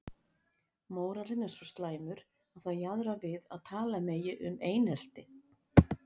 Mórallinn er svo slæmur að það jaðrar við að tala megi um einelti.